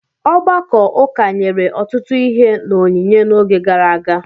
Ọgbakọ ụka nyere ọtụtụ ihe n’onyinye n’oge gara aga.